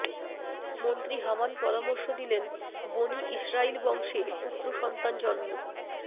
মন্ত্রী হামান পরামর্শ দিলেন বনি ইসরাইল বংশে পুত্রসন্তান জন্ম